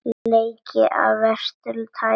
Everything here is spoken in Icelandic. Leki af versta tagi